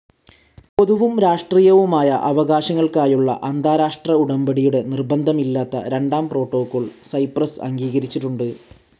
പൊതുവും രാഷ്ട്രീയവുമായ അവകാശങ്ങൾക്കായുള്ള അന്താരാഷ്ട്ര ഉടമ്പടിയുടെ നിർബന്ധമല്ലാത്ത രണ്ടാം പ്രോട്ടോക്കോൾ സൈപ്രസ് അംഗീകരിച്ചിട്ടുണ്ട്.